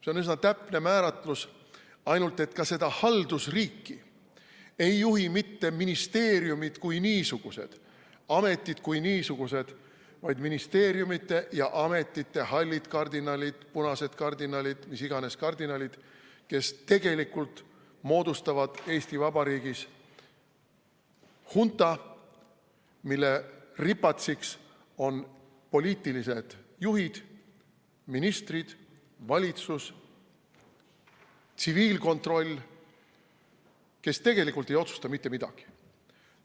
See on üsna täpne määratlus, ainult et ka seda haldusriiki ei juhi mitte ministeeriumid kui niisugused, ametid kui niisugused, vaid ministeeriumide ja ametiasutuste hallid kardinalid, punased kardinalid, mis iganes kardinalid, kes tegelikult moodustavad Eesti Vabariigis hunta, mille ripatsiks on poliitilised juhid, ministrid, valitsus, tsiviilkontroll, kes tegelikult ei otsusta mitte midagi.